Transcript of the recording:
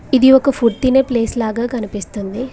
ఇది ఒక ఫుడ్ తినే ప్లేస్ లాగా కనిపిస్తుంది.